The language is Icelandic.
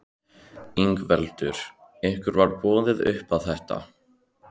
Ingveldur: Ykkur var boðið upp á þetta?